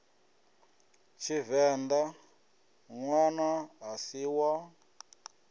tshivenḓa ṋwana a si wa